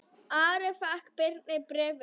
Ari fékk Birni bréfin.